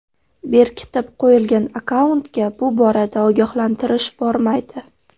Berkitib qo‘yilgan akkauntga bu borada ogohlantirish bormaydi.